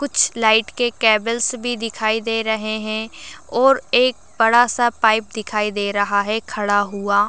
कुछ लाइट के केबल्स भी दिखाई दे रहे हैं और एक बड़ा सा पाइप दिखा रहा हैं खड़ा हुआ।